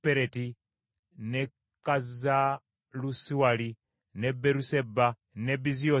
n’e Kazalusuwali, n’e Beeruseba n’e Biziosia